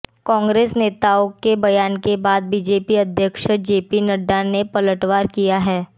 कांग्रेस नेताओं के बयान के बाद बीजेपी अध्यक्ष जेपी नड्डा ने पलटवार किया है